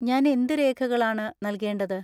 ഞാൻ എന്ത് രേഖകളാണ് നൽകേണ്ടത്?